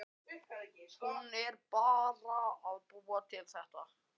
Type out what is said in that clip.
Hún er bara að búa þetta til.